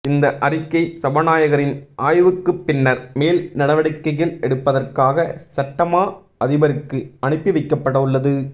இந்த அறிக்கை சபாநாயகரின் ஆய்வுக்குப் பின்னர் மேல் நடவடிக்கைகள் எடுப்பதற்காக சட்டமா அதிபருக்கு அனுப்பி வைக்கப்படவுள்ளது